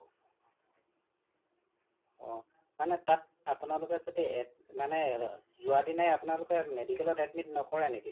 অ মানে তাত আপোনালোকে য্দি মানে যোৱা দিনাই আপোনালোকে medical ত admit নকৰাই নেকি ?